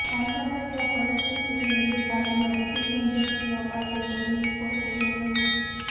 આંતરરાષ્ટ્રીય પરિસ્થિતિથી વિરુદ્ધ ભારતમાં રેટિંગ એજન્સીઓ પાસે જરૂરી કૌશલ્ય નથી